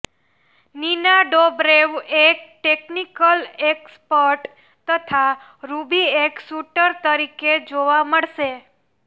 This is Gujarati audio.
નીના ડોબરેવ એક ટેકનિકલ એક્સપર્ટ તથા રૂબી એક શૂટર તરીકે જોવા મળશે